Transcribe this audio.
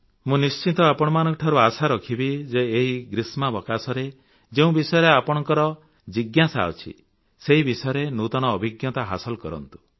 ମୁଁ ନିଶ୍ଚିତ ଆପଣମାନଙ୍କଠାରୁ ଆଶା ରଖିବି ଯେ ଏହି ଗ୍ରାଷ୍ମାବକାଶରେ ଯେଉଁ ବିଷୟରେ ଆପଣଙ୍କର ଜିଜ୍ଞାସା ଅଛି ସେହି ବିଷୟରେ ନୂତନ ଅଭିଜ୍ଞତା ହାସଲ କରନ୍ତୁ